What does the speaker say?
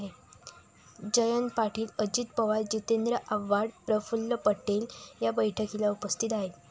जयंत पाटील, अजित पवार, जिंतेद्र आव्हाड, प्रफुल्ल पटेल या बैठकीला उपस्थित आहेत.